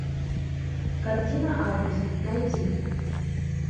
картина август найти